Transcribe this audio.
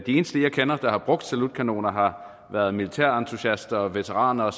eneste jeg kender der har brugt salutkanoner har været militærentusiaster veteraner